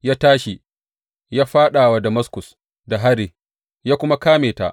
Ya tashi ya fāɗa wa Damaskus da hari ya kuma kame ta.